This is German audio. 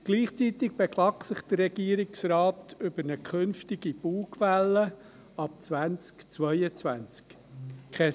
Gleichzeitig beklagt sich der Regierungsrat über eine künftige Bugwelle ab 2022.